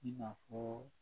I n'a fɔ